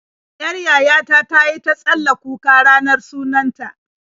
Yar yaya ta ta yi ta tsalla kuka ranar sunan ta.